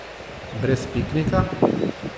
Brez piknika?